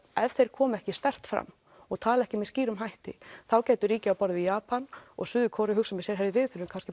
ef þeir koma ekki sterkt fram og tala ekki með skýrum hætti þá gætu ríki á borð við Japan og Suður Kóreu hugsað með sér við þurfum kannski